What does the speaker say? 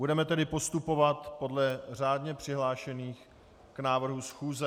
Budeme tedy postupovat podle řádně přihlášených k návrhu schůze.